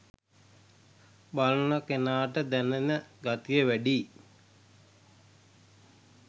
බලන කෙනාට දැනෙන ගතිය වැඩියි